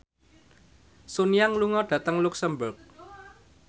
Sun Yang lunga dhateng luxemburg